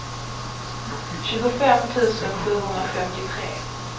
tjugofem tusen sjuhundrafemtiotre